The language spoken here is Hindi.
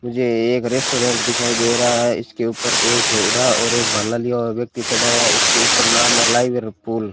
मुझे एक रेस्टोरेंट दिखाई दे रहा है इसके ऊपर एक घोड़ा और एक भाला लिए हुआ व्यक्ति चढ़ा है इसके ऊपर नाम है लाइवरपूल --